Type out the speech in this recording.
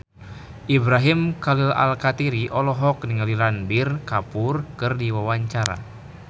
Ibrahim Khalil Alkatiri olohok ningali Ranbir Kapoor keur diwawancara